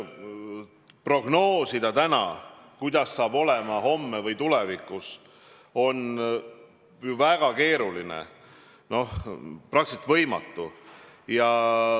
Prognoosida täna, kuidas saab olema homme või kaugemas tulevikus, on väga keeruline, praktiliselt võimatu.